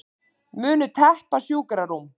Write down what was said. Munu teppa sjúkrarúm